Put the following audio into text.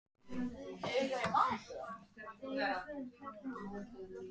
Fólkið lét tilleiðast að sýna þig.